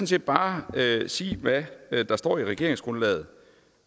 set bare sige hvad der står i regeringsgrundlaget